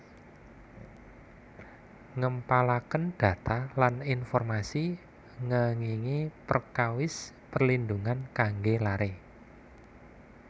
Ngempalaken data lan informasi ngengingi perkawis perlindhungan kangge lare